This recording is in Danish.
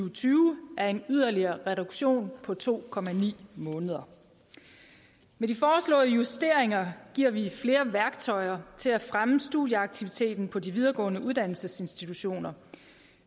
og tyve er en yderligere reduktion på to måneder med de foreslåede justeringer giver vi flere værktøjer til at fremme studieaktiviteten på de videregående uddannelsesinstitutioner